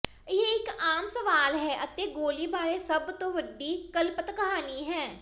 ਇਹ ਇਕ ਆਮ ਸਵਾਲ ਹੈ ਅਤੇ ਗੋਲੀ ਬਾਰੇ ਸਭ ਤੋਂ ਵੱਡੀ ਕਲਪਤ ਕਹਾਣੀ ਹੈ